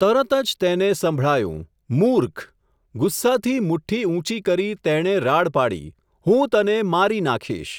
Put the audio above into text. તરતજ તેને સંભળાયું, મૂર્ખ ! ગુસ્સાથી મુઠ્ઠી ઊંચી કરી તેણે રાડ પાડી, હું તને મારી નાખીશ !